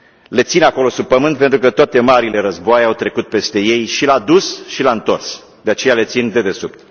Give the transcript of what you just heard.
Le țin acolo sub pământ pentru că toate marile războaie au trecut peste ei, și la dus și la întors, de aceea le țin dedesubt.